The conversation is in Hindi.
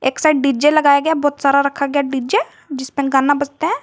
एक साइड डी_जे लगाया गया है बहुत सारा रखा गया हैं डी_जे जिसमें गाना बजता है।